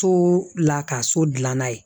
So la ka so dilanna ye